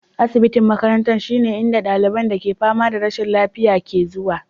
Asibiti na makaranta shine inda ɗaliban da ke fama da rashin lafiya ke zuwa.